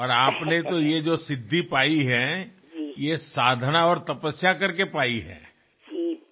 আপনি যে সিদ্ধিলাভ করেছেন তা সাধনা ও তপস্যার মাধ্যেমেই সম্ভব